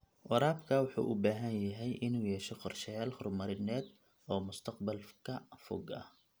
Waraabka wuxuu u baahan yahay inuu yeesho qorshayaal horumarineed oo mustaqbalka fog ah.